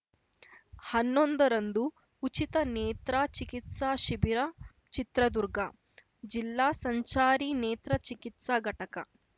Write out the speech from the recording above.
ಹನ್ನೊಂದರಂದು ಉಚಿತ ನೇತ್ರಾ ಚಿಕಿತ್ಸಾ ಶಿಬಿರ ಚಿತ್ರದುರ್ಗ ಜಿಲ್ಲಾ ಸಂಚಾರಿ ನೇತ್ರ ಚಿಕಿತ್ಸಾ ಘಟಕ